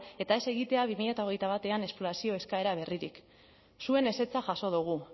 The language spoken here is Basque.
eta ez egitea bi mila hogeita batean esplorazio eskaera berririk zuen ezetza jaso dugu